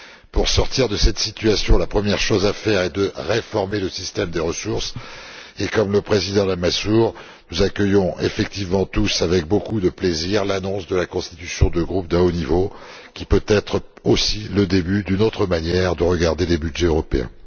Pour sortir de cette situation, la première chose à faire est de réformer le système des ressources propres et, à l'initiative du président Lamassoure, nous accueillons effectivement tous avec beaucoup de plaisir l'annonce de la constitution d'un groupe d'un haut niveau, qui peut être aussi le début d'une autre manière d'envisager les budgets européens.